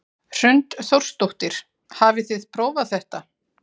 Hrund Þórsdóttir: Hafið þið prófað þetta?